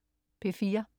P4: